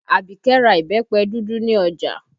Abike ra ìbẹ́pẹ dúdú ní ọjà